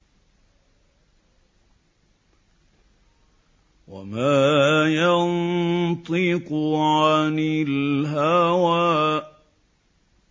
وَمَا يَنطِقُ عَنِ الْهَوَىٰ